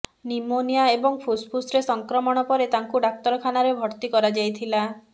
pneumonia ଏବଂ ଫୁସଫୁସରେ ସଂକ୍ରମଣ ପରେ ତାଙ୍କୁ ଡାକ୍ତରଖାନାରେ ଭର୍ତ୍ତି କରାଯାଇଥିଲା